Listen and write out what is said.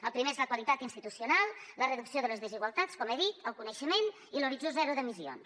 el primer és la qualitat institucional la reducció de les desigualtats com he dit el coneixement i l’horitzó zero d’emissions